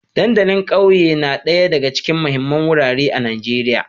Dandalin ƙauye na ɗaya daga cikin muhimman wurare a Najeriya